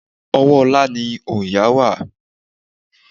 Ọwọ́ Olá ni òòyà wà.